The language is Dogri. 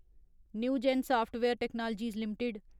Newgen software technologies limited